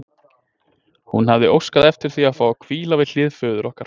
Hún hafði óskað eftir því að fá að hvíla við hlið föður okkar.